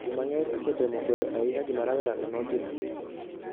Ji mang'eny osetemo kwedo ahinya gima rawerano notimo.